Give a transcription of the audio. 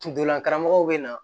Kundolan karamɔgɔw be na